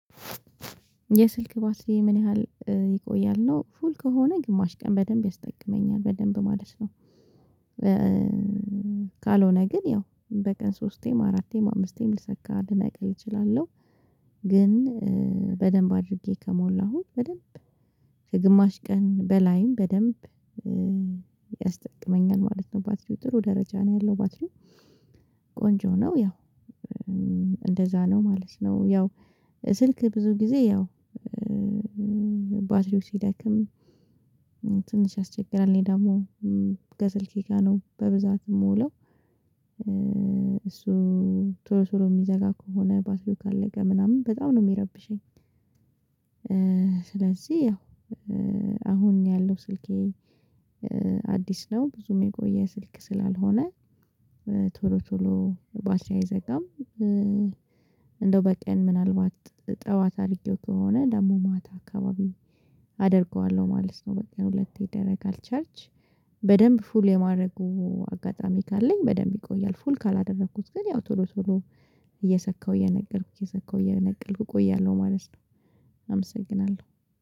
የስልክ ባትሪዬ ምን ያህል ይቆያል ነው ፉል ከሆነ ግማሽ ቀን በደንብ ያስጠቅመኛል በደንብ ማለት ነው። ካልሆነ ግን ያው በቀን ሶስቴም አራቴም አምስቴም ልሰካ ልነቅል እችላለሁ። ግን በደንብ አድርጌ ከሞላሁኝ በደንብ ከግማሽ ቀን በላይም በደንብ ያስጠቅመኛል ማለት ነው። ባትሪው ጥሩ ደረጃ ነው ያለው ባትሪው ቆንጆ ነው። ያው እንደዛ ነው ማለት ነው። ያው ስልክ ብዙ ጊዜ ያው ባትሪው ሲደክም ትንሽ ያስቸግራል። እኔ ደግሞ ከስልኬ ጋር ነው በብዛት የምውለው። እሱ ቶሎ ቶሎ የሚዘጋ ከሆነ ባትሪው ቃለቀ ምናምን በጣም ነው የሚረብሸኝ። ስለዚህ ያው አሁን ያለው ስልኬ አዲስ ነው ብዙም የቆየ ስልክ ስላልሆነ ቶሎ ቶሎ ባትሪ አይዘጋም። እንደው በቀን ምናልባት ጠዋት አርጌው ከሆነ ደግሞ ማታ አካባቢ አደርገዋለሁ ማለት ነው። በቀን ሁለቴ ይደረጋል ቻርጅ በደንብ ፉል የማድረጉ አጋጣሚ ካለኝ በደንብ ይቆያል። ፉል ካላደረኩት ግን ያው ቶሎ ቶሎ እየሰካሁ እየነቀልኩ እየሰካሁ እየነቀልኩ እቆያለሁ ማለት ነው። አመሰግናለሁ